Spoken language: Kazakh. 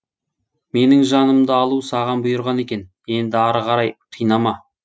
менің жанымды алу саған бұйырған екен енді ары қарай қинама